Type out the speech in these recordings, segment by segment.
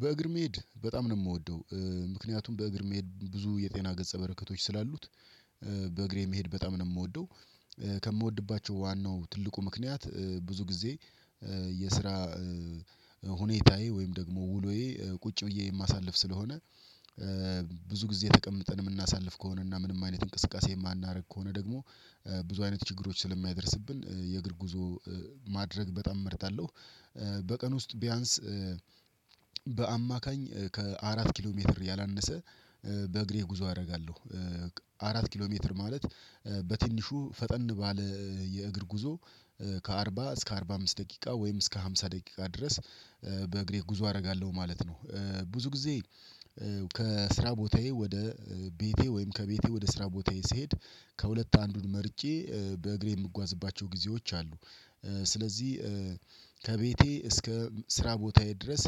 በእግር መሄድ በጣም ነው የምወደው። ምክንያቱም በእግር መሄድ ብዙ የጤና ገጸ በረከቶች ስላሉት በእግሬ መሄድ በጣም ነው የምወደው። ከምወድባቸው ዋናው ትልቁ ምክንያት ብዙ ጊዜ የስራ ሁኔታዬ ወይም ደግሞ ውሎዬ ቁጭ ብዬ የማሳልፍ ስለሆነ ብዙ ጊዜ ተቀምጠን የምናሳልፍ ከሆነ እና ምንም አይነት እንቅስቃሴ የማናደርግ ከሆነ ደግሞ ብዙ አይነት ችግሮች ስለሚያደርስብን የእግር ጉዞ ማድረግ በጣም እመርታለሁ። በቀን ውስጥ ቢያንስ በአማካኝ ከአራት ኪሎ ሜትር ያላነሰ በእግሬ ጉዞ አደርጋለሁ። አራት ኪሎ ሜትር ማለት በትንሹ ፈጠን ባለ የእግር ጉዞ ከአርባ እስከ አርባ አምስት ደቂቃ ወይም እስከ ሃምሳ ደቂቃ ድረስ በእግሬ ጉዞ አደርጋለሁ ማለት ነው። ብዙ ጊዜ ከስራ ቦታዬ ወደ ቤቴ ወይም ከቤቴ ወደ ስራ ቦታዬ ስሄድ ከሁለት አንዱን መርጬ በእግሬ የምጓዝባቸው ጊዜዎች አሉ። ስለዚህ ከቤቴ እስከ ስራ ቦታዬ ድረስ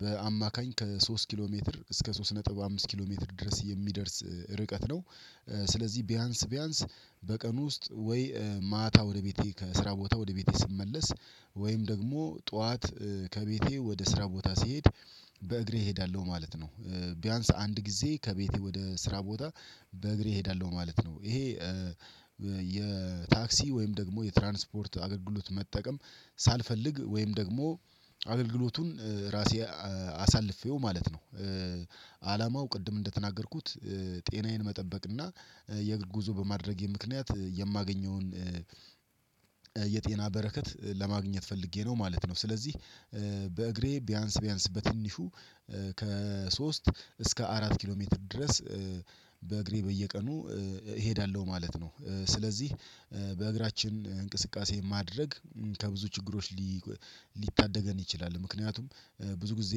በአማካኝ ከሶስት ኪሎ ሜትር እስከ ሶስት ነጥብ አምስት ኪሎ ሜትር ድረስ የሚደርስ ርቀት ነው ስለዚህ ቢያንስ ቢያንስ በቀን ውስጥ ወይ ማታ ወደ ቤቴ ከስራ ቦታ ወደ ቤቴ ስመለስ ወይም ደግሞ ጠዋት ከቤቴ ወደ ስራ ቦታ ስሄድ በእግሬ እሄዳለሁ ማለት ነው ቢያንስ አንድ ጊዜ ከቤቴ ወደ ስራ ቦታ በእግሬ እሄዳለሁ ማለት ነው ይሄ የታክሲ ወይም ደግሞ የትራንስፖርት አገልግሎት መጠቀም ሳልፈልግ ወይም ደግሞ አገልግሎቱን ራሴ አሳልፌው ማለት ነው አላማው ቅድም እንደተናገርኩት ጤናዬን መጠበቅ እና የእግር ጉዞ በማድረጌ ምክንያት የማገኘውን የጤና በረከት ለማግኘት ፈልጌ ነው ማለት ነው ስለዚህ በእግሬ ቢያንስ ቢያንስ በትንሹ ከሶስት እስከ አራት ኪሎ ሜትር ድረስ በእግሬ በየቀኑ እሄዳለሁ ማለት ነው ስለዚህ በእግራችን እንቅስቃሴ ማድረግ ከብዙ ችግሮች ሊታደገን ይችላል ምክንያቱም ብዙ ጊዜ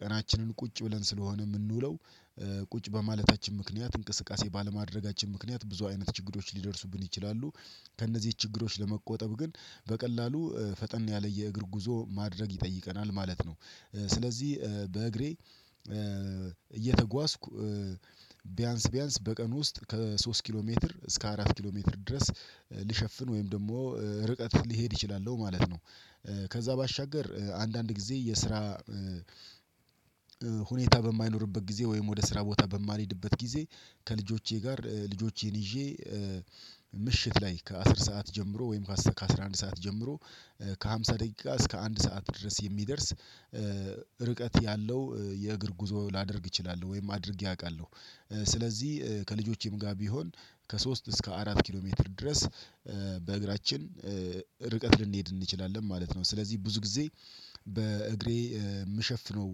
ቀናችንን ቁጭ ብለን ስለሆነ የምንውለው ቁጭ በማለታችን ምክንያት እንቅስቃሴ ባለማድረጋችን ምክንያት ብዙ አይነት ችግሮች ሊደርሱብን ይችላሉ ከእነዚህ ችግሮች ለመቆጠብ ግን በቀላሉ ፈጠን ያለ የእግር ጉዞ ማድረግ ይጠይቀናል ማለት ነው ስለዚህ በእግሬ እየተጓዝኩ ቢያንስ ቢያንስ በቀን ውስጥ ከሶስት ኪሎ ሜትር እስከ አራት ኪሎ ሜትር ድረስ ልሸፍን ወይም ደግሞ ርቀት ልሄድ እችላለው ማለት ነው ከዛ ባሻገር አንዳንድ ጊዜ የስራ ሁኔታ በማይኖርበት ጊዜ ወይም ወደ ስራ ቦታ በማልሄድበት ጊዜ ከልጆቼ ጋር ልጆቼን ይዤ ምሽት ላይ ከአስር ሰዓት ጀምሮ ወይም ከአሥራ አንድ ሰዓት ጀምሮ ከአምሳ ደቂቃ እስከ አንድ ሰዓት ድረስ የሚደርስ ርቀት ያለው የእግር ጉዞ ላደርግ እችላለሁ ወይም አድርጌ አውቃለሁ ስለዚህ ከልጆቼም ጋር ቢሆን ከሶስት እስከ አራት ኪሎ ሜትር ድረስ በእግራችን ርቀት ልንሄድ እንችላለን ማለት ነው ስለዚህ ብዙ ጊዜ በእግሬ የምሸፍነው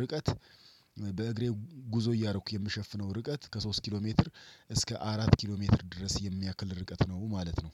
ርቀት በእግሬ ጉዞ እያደረኩ የምሸፍነው ርቀት ከሶስት ኪሎ ሜትር እስከ አራት ኪሎ ሜትር ድረስ የሚያክል ርቀት ነው ማለት ነው